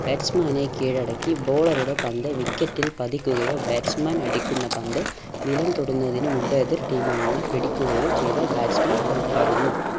batsman നെ കീഴടക്കി bowler ഉടെ പന്ത് wicket ൽ പതിക്കുകയോ batsman അടിക്കുന്ന പന്ത് നിലം തൊടുന്നതിന് മുമ്പ് എതിർ team അംഗങ്ങൾ പിടിക്കുകയോ ചെയ്താൽ batsman പുറത്താകുന്നു.